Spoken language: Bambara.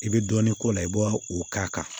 I bɛ dɔɔnin k'o la i b'a o k'a kan